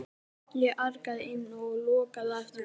Ég arkaði inn og lokaði á eftir mér.